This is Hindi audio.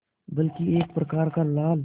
बल्कि एक प्रकार का लाल